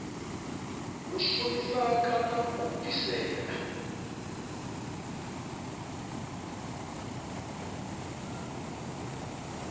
u shumisa kana u bvisela